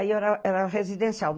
Aí era, era residencial.